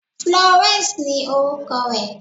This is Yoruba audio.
Florence ni orúkọ rẹ̀.